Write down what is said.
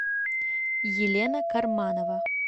елена карманова